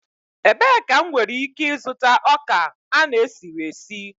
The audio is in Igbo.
Ebee ka m nwere ike ịzụta ọka a na-esiri esi?